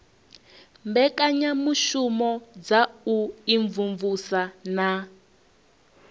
mbekanyamushumo dza u imvumvusa na